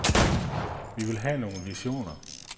Vi vil have nogle visioner.